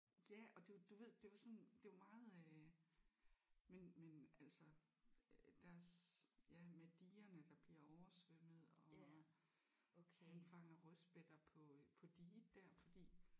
Ja og det du ved det var sådan det var meget øh men men altså øh deres ja med digerne der bliver oversvømmet og han fanger rødspætter på øh på diget der fordi